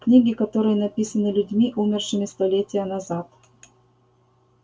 книги которые написаны людьми умершими столетия назад